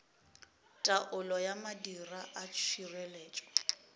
taolo ya madira a tšhireletšo